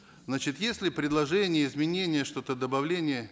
значит есть ли предложения изменения что то добавление